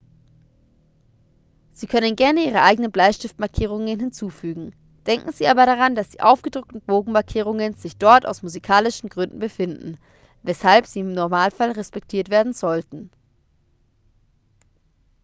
sie können gerne ihre eigenen bleistiftmarkierungen hinzufügen denken sie aber daran dass die aufgedruckten bogenmarkierungen sich dort aus musikalischen gründen befinden weshalb sie im normalfall respektiert werden sollten